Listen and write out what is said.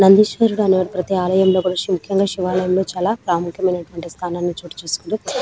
నందిషేవరాడు ప్రతు ఆలయం లో ప్రతి శివయం లో వుంటారు --